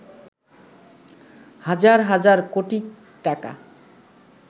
হাজার হাজার কোটি টাকা